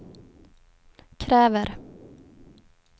kräver